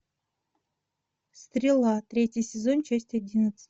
стрела третий сезон часть одиннадцать